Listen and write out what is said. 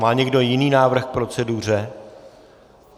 Má někdo jiný návrh k proceduře?